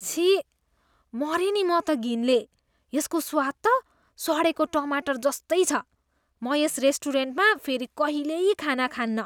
छिः! मरेँ नि म त घिनले! यसको स्वाद त सडेको टमाटर जस्तै छ, म यस रेस्टुरेन्टमा फेरि कहिल्यै खाना खान्नँ।